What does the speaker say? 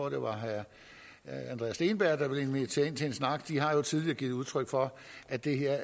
at det var herre andreas steenberg der ville invitere dem ind til en snak de har jo tidligere givet udtryk for at det her